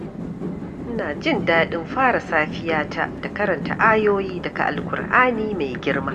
Ina jin daɗin fara safiyata da karanta ayoyi daga Al-Ƙur’ani mai girma.